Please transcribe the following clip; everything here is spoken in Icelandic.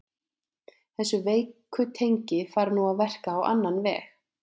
Þessi veiku tengi fara nú að verka á annan veg.